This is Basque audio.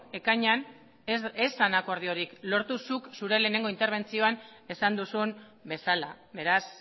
ekainean ez zen akordiorik lortu zuk zure lehenengo interbentzioan esan duzun bezala beraz